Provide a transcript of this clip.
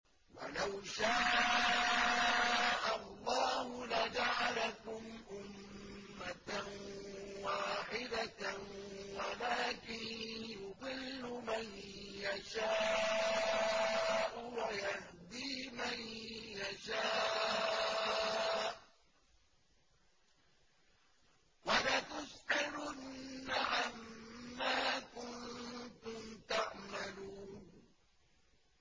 وَلَوْ شَاءَ اللَّهُ لَجَعَلَكُمْ أُمَّةً وَاحِدَةً وَلَٰكِن يُضِلُّ مَن يَشَاءُ وَيَهْدِي مَن يَشَاءُ ۚ وَلَتُسْأَلُنَّ عَمَّا كُنتُمْ تَعْمَلُونَ